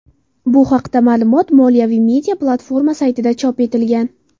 Bu haqida ma’lumot moliyaviy media-platforma saytida chop etilgan.